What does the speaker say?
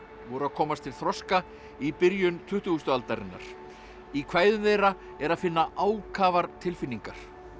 voru að komast til þroska í byrjun tuttugustu aldarinnar í kvæðum þeirra er að finna ákafar tilfinningar